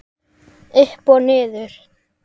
Upp og niður.